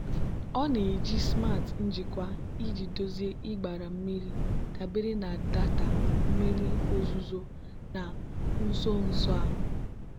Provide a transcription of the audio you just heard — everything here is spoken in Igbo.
ọ na-eji smart njikwa iji dozie ịgbara mmiri dabere na data mmiri ozuzo na nso nso a.